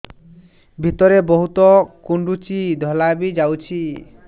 ଭିତରେ ବହୁତ କୁଣ୍ଡୁଚି ଧଳା ବି ଯାଉଛି